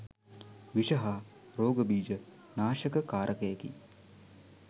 විෂ හා රෝග බීජ නාශක කාරකයකි.